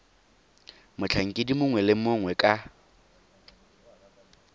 motlhankedi mongwe le mongwe ka